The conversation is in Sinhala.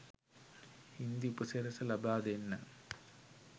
හින්දි උපසිරැස ලබා දෙන්න